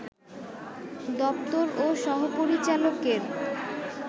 দপ্তর ও সহ-পরিচালকের